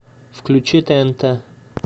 включи тнт